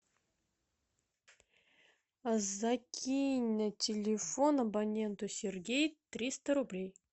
закинь на телефон абоненту сергей триста рублей